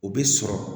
O bɛ sɔrɔ